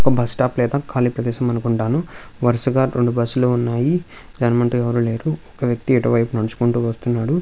ఒక bus stop లేదా కాలి ప్రదేశం అనుకుంటాను. వరుసగా రెండు బస్ లు ఉన్నాయి. దాని ముందట ఎవరు లేరు. ఒక వ్యక్తి ఇటు వైపు నడుచుకుంటూ వస్తు ఉన్నాడు.